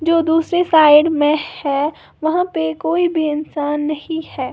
जो दूसरी साइड में है वहां पे कोई भी इंसान नहीं है।